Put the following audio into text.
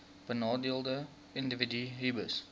benadeelde individue hbis